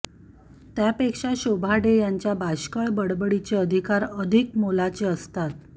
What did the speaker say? त्यापेक्षा शोभा डे यांच्या बाष्कळ बडबडीचे अधिकार अधिक मोलाचे असतात